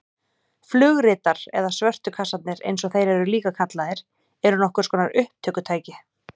Flugritar eða svörtu kassarnir eins og þeir eru líka kallaðir eru nokkurs konar upptökutæki.